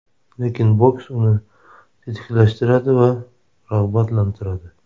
Lekin boks uni tetiklashtiradi va rag‘batlantiradi.